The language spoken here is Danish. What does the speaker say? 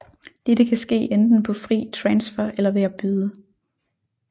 Dette kan ske enten på fri transfer eller ved at byde